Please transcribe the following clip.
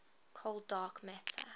cold dark matter